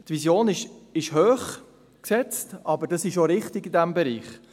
Die Vision ist hoch angesetzt, das ist aber in diesem Bereich auch richtig.